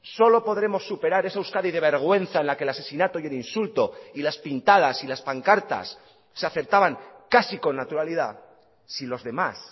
solo podremos superar esa euskadi de vergüenza en la que el asesinato y el insulto y las pintadas y las pancartas se aceptaban casi con naturalidad si los demás